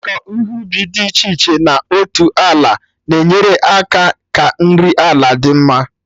Ịkọ ihe ubi dị iche iche na otu ala na enyere aka ka nri ala dị mma